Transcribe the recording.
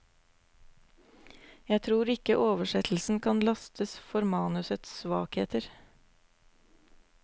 Jeg tror ikke oversettelsen kan lastes for manusets svakheter.